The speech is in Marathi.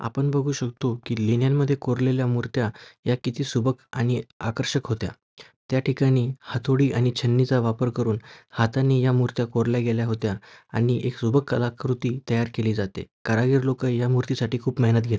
आपण बघू शकतो की लेण्यांमध्ये कोरलेल्या मुर्त्या या किती सुबक आणि आकर्षक होत्या. त्या ठिकाणी हातोडी आणि छन्नी चा वापर करून हाताने या मुर्त्या कोरल्या गेल्या होत्या आणि एक सुबक कलाकृती तयार केली जाते. कारागीर लोक या मूर्तीसाठी खूप मेहनत घेत.